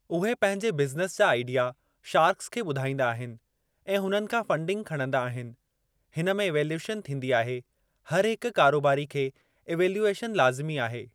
उहे पंहिंजे बिज़निस जा आइडिया शार्क्स खे ॿुधाईंदा आहिनि ऐं हुननि खां फ़ंडिंग खणंदा आहिनि। हिन में इवेल्युएशन थींदी आहे। हर हिक कारोबारी खे इवेल्युएशन लाज़िमी आहे।